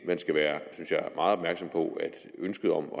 man skal være meget opmærksom på at ønsket om